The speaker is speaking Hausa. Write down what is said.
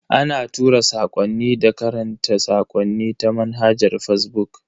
Ana tura sakwanni da karanta sakonni ta manhajar fazbuk.